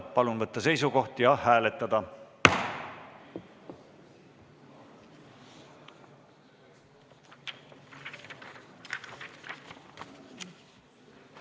Palun võtta seisukoht ja hääletada!